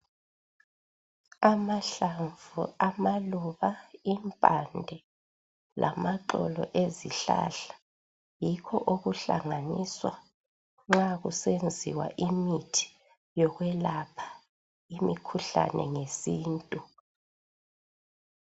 Amahlamvu, amaluba, impande, lamaxolo ezihlahla yikho okuhlanganiswa nxakusenziwa imithi yokwelapha imikhuhlane ngesintu.